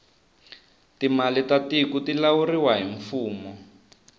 timali ta tiku ti lawuriwa hi mfumo